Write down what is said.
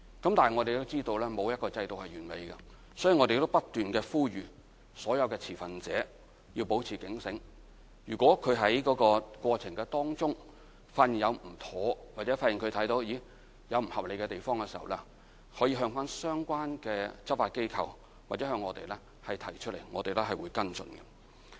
但我們知道沒有一個制度是完美的，所以不斷呼籲所有持份者要保持警醒，如果在過程中發現有不妥當或不合理的地方，可向相關的執法機構或向我們提出，我們會跟進。